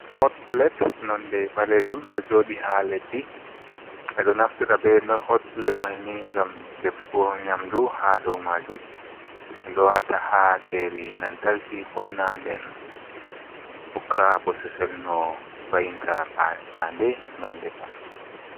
Hot pulet nonde ɓaleejum ɗo jooɗi haa leddi. Ɓe ɗo naftira be hot pulet may ni, ngam defugo nyamdu haa dow maajum, ɗum ɗo waata haa njayri lantarki kunna. Nden hokka bosesel, no va''inta paande ngam defa.